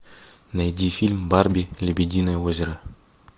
найди фильм барби лебединое озеро